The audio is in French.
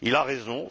Il a raison.